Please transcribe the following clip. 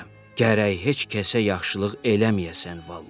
Gərək heç kəsə yaxşılıq eləməyəsən vallah.